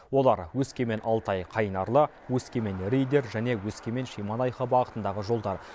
олар өскемен алтай қайнарлы өскемен риддер және өскемен шемонаиха бағытындағы жолдар